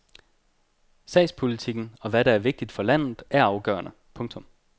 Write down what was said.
Sagspolitikken og hvad der er vigtigt for landet er afgørende. punktum